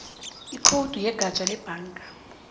ikhowudi yegatja lebhanga